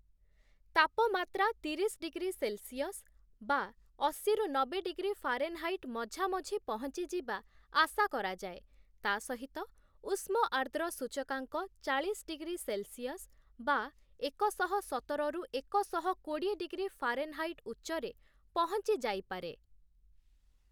ତାପମାତ୍ରା ତିରିଶ degree Celsius (ଅଶୀ -ନବେ ଡିଗ୍ରୀ ଫାରେନହାଇଟ୍‌) ମଝାମଝି ପହଞ୍ଚିଯିବା ଆଶା କରାଯାଏ, ତା ସହିତ ଉଷ୍ମ-ଆର୍ଦ୍ର ସୂଚକାଙ୍କ ଚାଳିଶ ଡିଗ୍ରୀ ସେଲସିଅସ୍‌ (ଏକ ଶହ ସତର -ଏକ ଶହ କୋଡ଼ିଏ ଡିଗ୍ରୀ ଫାରେନହାଇଟ୍‌) ଉଚ୍ଚରେ ପହଞ୍ଚିଯାଇପାରେ ।